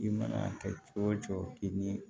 I mana kɛ cogo o cogo ni